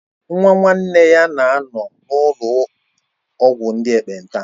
Nwa nwanne nne ya na-anọ na ụlọ ọgwụ ndị ekpenta